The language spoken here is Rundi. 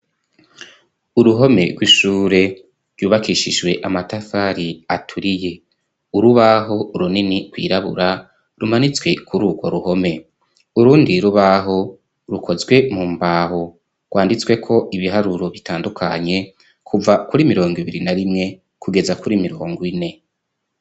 Uruhome rw'ishure ryubakishijwe amatafari aturiye, urubaho runini rwirabura rumanitswe kuri urwo ruhome, urundi rubaho rukozwe mu mbaho rwanditsweko ibiharuro bitandukanye, kuva kuri mirongo ibiri na rimwe kugeza kuri mirongo ine.